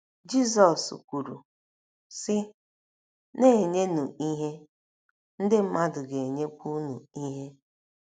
Jizọs kwuru, sị: “ Na - enyenụ ihe, ndị mmadụ ga - enyekwa unu ihe.